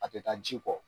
A tɛ taa ji kɔ